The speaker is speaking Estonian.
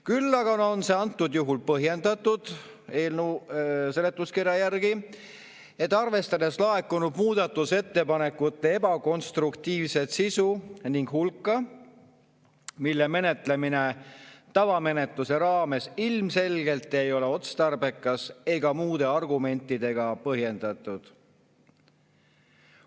Küll aga on see antud juhul põhjendatud – eelnõu seletuskirja järgi –, arvestades laekunud muudatusettepanekute ebakonstruktiivset sisu ning hulka, mille menetlemine tavamenetluse raames ilmselgelt ei ole otstarbekas ega muude argumentidega põhjendatud.